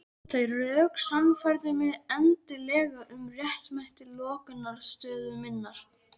Þau rök sannfærðu mig endanlega um réttmæti lokaniðurstöðu minnar.